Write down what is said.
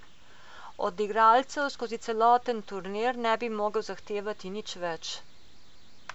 Od igralcev skozi celoten turnir ne bi mogel zahtevati nič več.